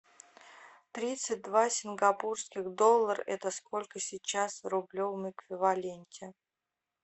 тридцать два сингапурских доллара это сколько сейчас в рублевом эквиваленте